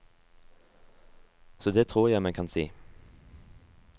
Så det tror jeg man kan si.